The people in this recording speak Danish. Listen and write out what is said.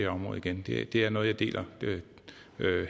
område igen det er noget jeg deler